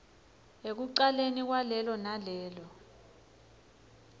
ekucaleni kwalelo nalelo